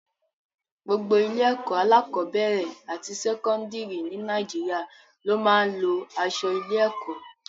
Gbogbo ilé-ẹ̀kọ́ alákọ̀ọ́bẹ̀rẹ̀ àti sẹ́kọ́ńdìrì ní Nàìjíríà ló máa ń lo aṣọ ilé-ẹ̀kọ́.